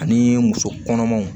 Ani muso kɔnɔmaw